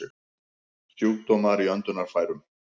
Sjúkdómar í öndunarfærum